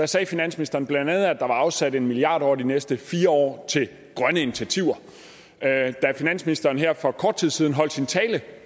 sagde finansministeren bla at der var afsat en milliard kroner over de næste fire år til grønne initiativer da finansministeren her for kort tid siden holdt sin tale